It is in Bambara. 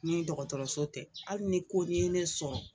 Ni dɔgɔtɔrɔso tɛ ali ni koni ye ne sɔrɔ